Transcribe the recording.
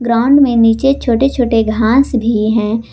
Ground में नीचे छोटे छोटे घास भी हैं।